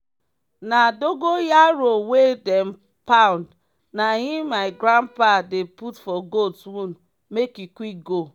na dogon yaro wey dem pound na im my grandpa dey put for goat wound make e quick go.